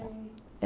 sei.